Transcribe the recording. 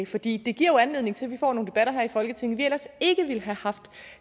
fordi det giver jo anledning til at vi får nogle debatter her i folketinget vi ellers ikke ville have haft